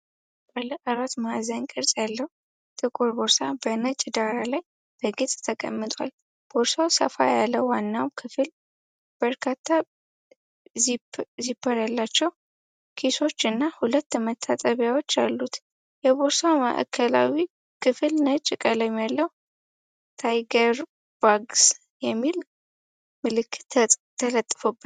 ባለ አራት ማዕዘን ቅርጽ ያለው ጥቁር ቦርሳ በነጭ ዳራ ላይ በግልጽ ተቀምጧል። ቦርሳው ሰፋ ያለ ዋና ክፍል፣ በርካታ ዚፐር ያላቸው ኪሶች እና ሁለት መታጠቂያዎች አሉት። የቦርሳው ማዕከላዊ ክፍል ነጭ ቀለም ያለው "ታይገርባግስ" የሚል ምልክት ተለጥፎበታል።